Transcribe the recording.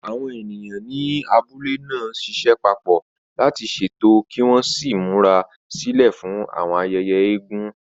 Àwọn ènìyàn ní abúlé náà ń ṣiṣẹ́ papọ̀ láti ṣètò kí wọ́n sì múra sílẹ̀ fún àwọn ayẹyẹ eégún.